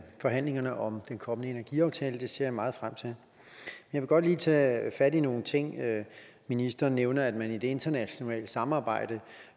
forhandlingerne om den kommende energiaftale det ser jeg meget frem til jeg vil godt lige tage fat i nogle ting ministeren nævner at man i det internationale samarbejde